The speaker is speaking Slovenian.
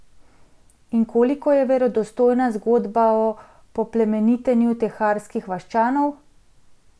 In koliko je verodostojna zgodba o poplemenitenju teharskih vaščanov?